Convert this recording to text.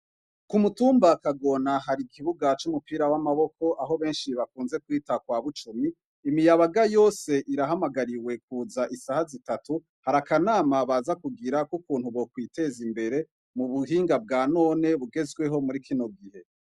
Kumutumba kagona hari ikibuga c'umupira w'amaboko aho benshi bakunze kwita kwa bucumi imiyabaga yose irahamagariwe kuza isaha zitatu hari akanama baza kugira k'ukuntu bokwiteza imbere mu buhinga bwa none bugezweho muri kino gihe.